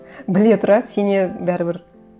біле тұра сенеді бәрібір